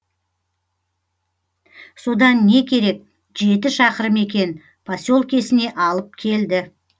содан не керек жеті шақырым екен поселкесіне алып келді